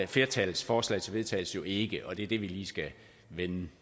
flertallets forslag til vedtagelse jo ikke og det er det vi lige skal vende